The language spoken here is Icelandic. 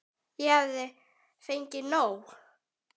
Ég hafði fengið nóg.